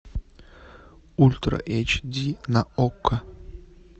ультра эйч ди на окко